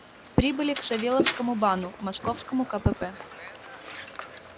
прибыли к савёловскому бану московскому кпп